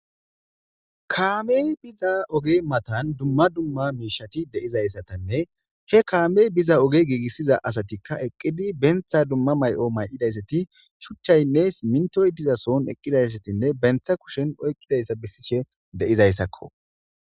Kaame biza oge matan dumma dumma miishati deizayssatanne he kaame biza oge giigissiza asatikka eqqidi bentha dumma may'o mayqidayssati shuchchaynnes mintoytiza son eqqidayssatinne bentha kushen oyqqidayssa bessishe deizayssakko.